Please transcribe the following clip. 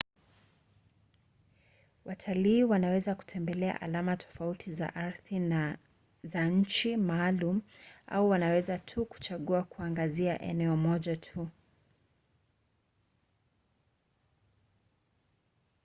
watalii wanaweza kutembelea alama tofauti za ardhi za nchi maalum au wanaweza tu kuchagua kuangazia eneo moja tu